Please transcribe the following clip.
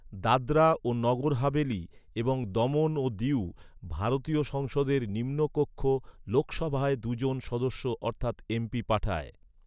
দাদরা ও নগর হাভেলি এবং দমন ও দিউ ভারতীয় সংসদের নিম্নকক্ষ লোকসভায় দু’জন সদস্য অর্থাৎ এমপি পাঠায়।